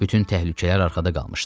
Bütün təhlükələr arxada qalmışdı.